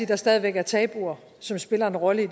der stadig væk er tabuer som spiller en rolle i